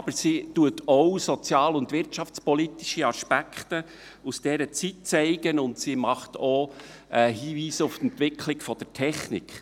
Aber sie zeigt auch soziale und wirtschaftspolitische Aspekte aus dieser Zeit, und sie macht auch Hinweise auf die Entwicklung der Technik.